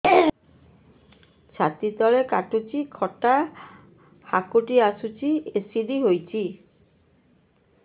ଛାତି ତଳେ କାଟୁଚି ଖଟା ହାକୁଟି ଆସୁଚି ଏସିଡିଟି ହେଇଚି